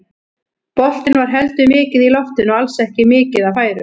Boltinn var heldur mikið í loftinu og alls ekki mikið af færum.